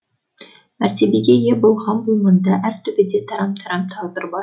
мәртебеге ие болған бұл маңда әр төбеде тарам тарам тағдыр бар